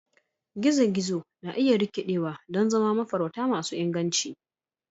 gizo-gizo na iya rikidewa don zama mafarauta masu inganci.